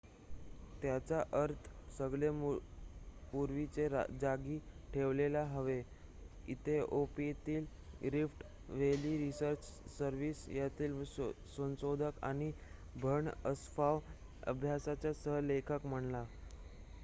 त्याचा अर्थ सगळे पूर्वीच्या जागी ठेवायला हवे इथिओपियातील रिफ्ट व्हॅली रिसर्च सर्व्हिस येथील संशोधक आणि बर्हन अस्फाव अभ्यासाचा सह लेखक म्हणाला